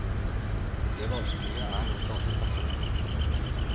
Det vanskelige er å skape personlighetene.